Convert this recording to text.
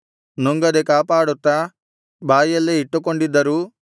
ನುಂಗದೆ ಕಾಪಾಡುತ್ತಾ ಬಾಯಲ್ಲೇ ಇಟ್ಟುಕೊಂಡಿದ್ದರೂ